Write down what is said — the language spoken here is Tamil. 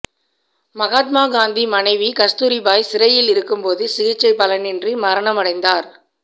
மகாத்மா காந்தி மனைவி கஸ்தூரிபாய் சிறையில் இருக்கும்போது சிகிச்சை பலனின்றி மரணம் அடைந்தார்